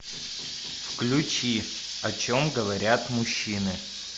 включи о чем говорят мужчины